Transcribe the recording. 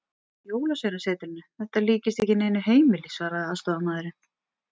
Jólasveinasetrinu, þetta líkist ekki neinu heimili, svaraði aðstoðarmaðurinn.